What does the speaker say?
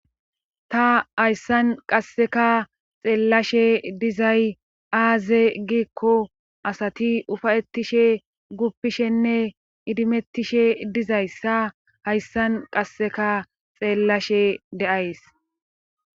Ta hayssan qasseka xeellashe dizay aaze giikko asati ufayettishe guppishenne idimettishe dizayssa hayssan qasseka xeellashe de'ays.